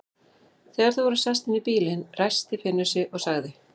Þegar þau voru sest inn í bílinn, ræskti Finnur sig og sagði